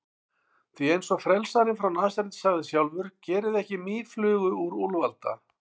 Því, eins og frelsarinn frá Nasaret sagði sjálfur: Gerið ekki mýflugu úr úlfalda.